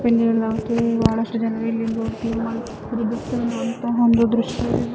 ಇಲೊಂದು bus stop ಇದೆ ಬಹಳಷ್ಟು ಜನ ಒಂದು ದೃಶ್ಯ.